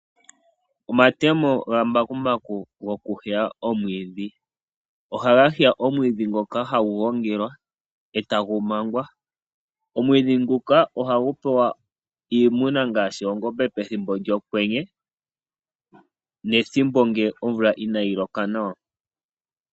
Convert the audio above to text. Omatemo gamambakumbaku go kuheya omwiidhi, ohaga heya omwiidhi ngoka hagu gongelwa eta gu mangwa. Omwiidhi nguka ohagu pewa iimuna ngaashi oongombe pethimbo lyokwenye nethimbo ngele omvula inayi loka nawa.